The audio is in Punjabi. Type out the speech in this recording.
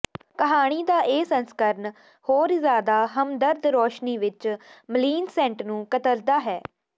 ਕਹਾਣੀ ਦਾ ਇਹ ਸੰਸਕਰਣ ਹੋਰ ਜ਼ਿਆਦਾ ਹਮਦਰਦ ਰੌਸ਼ਨੀ ਵਿੱਚ ਮਲੀਨਸਿੈਂਟ ਨੂੰ ਕਤਰਦਾ ਹੈ